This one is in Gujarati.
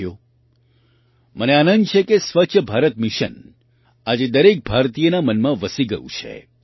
સાથીઓ મને આનંદ છે કે સ્વચ્છ ભારત મિશન આજે દરેક ભારતીયના મનમાં વસી ગયું છે